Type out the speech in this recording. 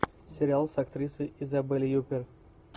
сериал с актрисой изабель юппер